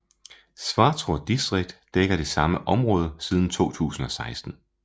Svartrå distrikt dækker det samme område siden 2016